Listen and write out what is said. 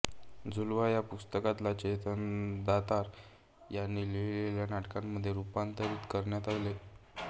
झुलवा या पुस्तकाला चेतन दातार यांनी लिहिलेल्या नाटकामध्ये रुपांतरीत करण्यात आले